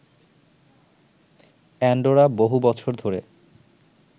Andorra বহু বছর ধরে